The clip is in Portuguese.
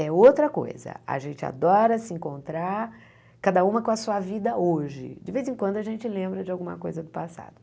É outra coisa, a gente adora se encontrar, cada uma com a sua vida hoje, de vez em quando a gente lembra de alguma coisa do passado.